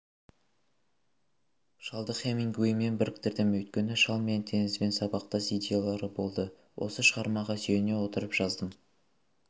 шалды хемингуэймен біріктірдім өйткені шал мен теңізбен сабақтас идеялары болды осы шығармаға сүйене отырып жаздым